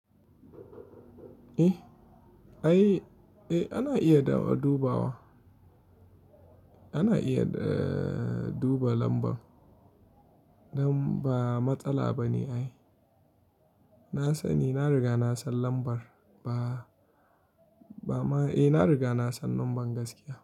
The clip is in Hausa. Eh, ai, eh ana iya duba wa. Ana iya, eh, duba lambar. Nan ba matsala ba ne ai. Na sani, na riga na san lambar ba, ba ma-- eh, na riga na san lambar gaskiya.